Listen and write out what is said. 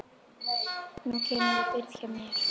Nú kemurðu og býrð hjá mér